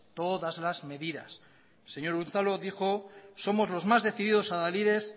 todas las medidas el señor unzalu dijo somos los más decididos adalides